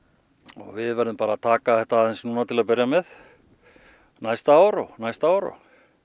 við verðum bara að taka þetta aðeins til að byrja með næsta ár og næsta ár og